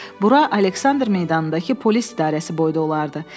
Bura Aleksandr meydanındakı polis idarəsi boyda olardı.